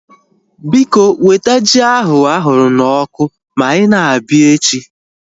Biko, weta ji ahu ahụrụ na ọkụ ma ị na-abịa